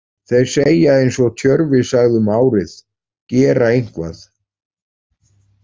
Þeir segja eins og Tjörvi sagði um árið: Gera eitthvað?